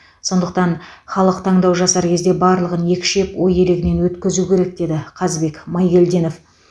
сондықтан халық таңдау жасар кезде барлығын екшеп ой елегінен өткізуі керек деді қазбек майгелдинов